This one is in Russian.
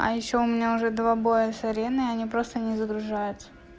а ещё у меня уже два боя с арены они просто не загружаются